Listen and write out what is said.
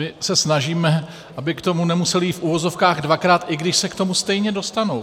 My se snažíme, aby k tomu nemusely jít v uvozovkách dvakrát, i když se k tomu stejně dostanou.